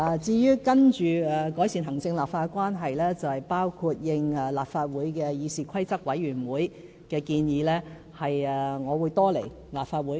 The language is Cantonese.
至於接下來如何改善行政立法關係，我會應立法會議事規則委員會的建議，多來立法會。